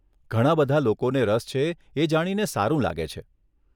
ઘણાં બધાં લોકોને રસ છે, એ જાણીને સારું લાગે છે.